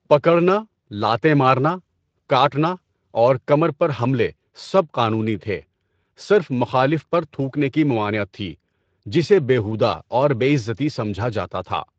پکڑنا، لاتیں مارنا، کاٹنا اور کمر پر حملے سب قانونی تھے، صرف مخالف پر تھوکنے کی ممانعت تھی جسے بے ہودہ اور بے عزتی سمجھا جاتا تھا۔